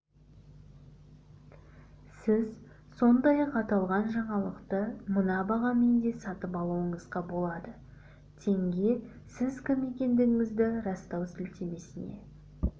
сіз сондай-ақ аталған жаңалықты мына бағамен де сатып алуыңызға болады теңге сіз кім екендігіңізді растау сілтемесіне